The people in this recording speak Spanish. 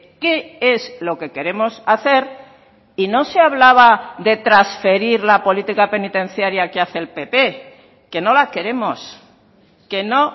qué es lo que queremos hacer y no se hablaba de transferir la política penitenciaria que hace el pp que no la queremos que no